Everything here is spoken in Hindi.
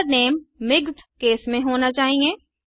मेथड नेम मिक्स्डकेस में होना चाहिए